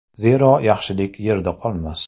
Zero, yaxshilik yerda qolmas.